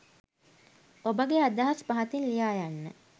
ඔබගේ අදහස් පහතින් ලියා යන්න